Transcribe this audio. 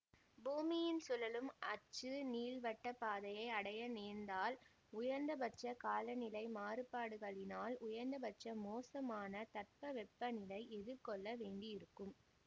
பூமியின் சுழலும் அச்சு நீள்வட்டப்பாதையை அடைய நேர்ந்தால் உயர்ந்தபட்ச காலநிலை மாறுபாடுகளினால் உயர்ந்தபட்ச மோசமான தட்பவெப்ப நிலை எதிர்கொள்ள வேண்டியிருக்கும்